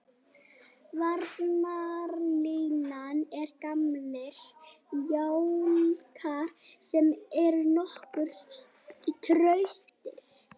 Varnarlínan er gamlir jálkar sem eru nokkuð traustir.